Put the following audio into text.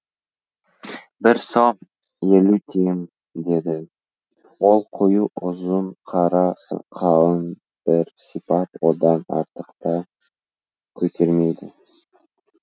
бір сом елу тиым деді ол қою ұзын қара сақалын бір сипап одан артықты көтермейді